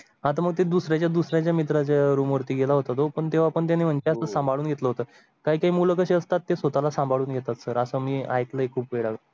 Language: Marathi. आता मग ते दुसर् या दुसर् या मित्राच्या रूम वरती गेला होता तो पण तेव्हा पण त्या सांभाळून घेतलं होतं. काही मुलं कशी असतात ते स्वतःला सांभाळून घेतात सर असं मी ऐकलं खूप वेळ.